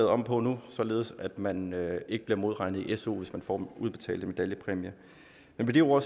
om på nu således at man ikke bliver modregnet i su hvis man får udbetalt en medaljepræmie med de ord